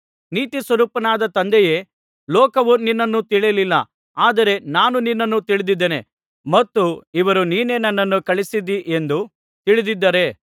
ನೀತಿಸ್ವರೂಪನಾದ ತಂದೆಯೇ ಲೋಕವು ನಿನ್ನನ್ನು ತಿಳಿಯಲಿಲ್ಲ ಆದರೆ ನಾನು ನಿನ್ನನ್ನು ತಿಳಿದಿದ್ದೇನೆ ಮತ್ತು ಇವರು ನೀನೇ ನನ್ನನ್ನು ಕಳುಹಿಸಿದ್ದೀ ಎಂದು ತಿಳಿದಿದ್ದಾರೆ